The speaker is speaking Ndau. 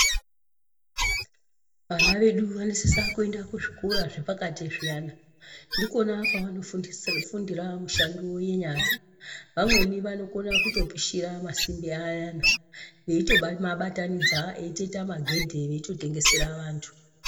Vana vedu vanosisa kuyenda kuzvikora zvepakati zviyana, ndikona kwava nofundira mushando yenyara, vamweni vanokona kutopishira masimbi ayana, veyito mabatanidza eyitoyita magedhe, veyito tengesera vantu.